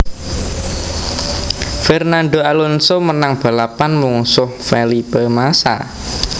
Fernando Alonso menang balapan mungsuh Felipe Massa